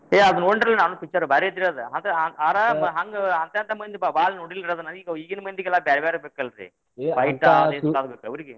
ಏ ಅದ್ನ ನೋಡಿನ ಅಲ್ರೀ ನಾನು picture ಭಾರಿ ಐತ್ರಿ ಅದ್ ಆದ ಆರ ಹಂಗ್ ಅರ್ಧರ್ಧ ಮಂದಿ ಬಾಳ ನೋಡಿಲ್ರೀ ಅದ್ನ ಈಗ ಈಗಿನ ಮಂದಿಗೆಲ್ಲಾ ಬ್ಯಾರೇ ಬ್ಯಾರೇನ ಬೇಕ ಅಲ್ರೀ fight ಇವ ಬೇಕ್ರಿ ಇವ್ರಿಗೆ .